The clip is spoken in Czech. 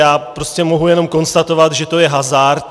Já prostě mohu jenom konstatovat, že to je hazard.